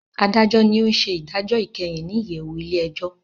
Adajọ ní ọ n ṣe idajọ ikẹhin ní iyẹwu ilé-ẹjọ